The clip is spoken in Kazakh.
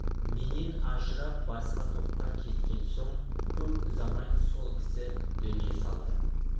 менен ажырап басқа топқа кеткен соң көп ұзамай сол кісі дүние салды